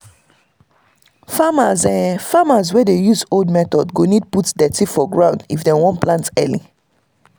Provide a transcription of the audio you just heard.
farmers farmers wey dey use old method go need put dirty for ground if den want plant early.